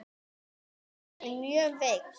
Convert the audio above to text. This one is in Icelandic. Hún var orðin mjög veik.